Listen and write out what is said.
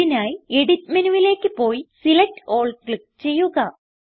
ഇതിനായി എഡിറ്റ് മെനുവിലേക്ക് പോയി സെലക്ട് ആൽ ക്ലിക്ക് ചെയ്യുക